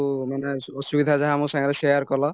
ମାନେ ଅସୁବିଧା ଯାହା ସବୁ share କଲ